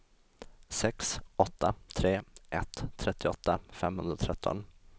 sex åtta tre ett trettioåtta femhundratretton